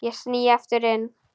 Ég sný aftur inn.